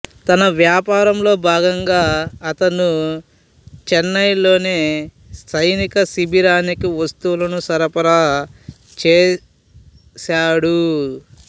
తన వ్యాపారంలో భాగంగా అతనుచెన్నైలోని సైనిక శిబిరానికి వస్తువులను సరఫరా చేసాడు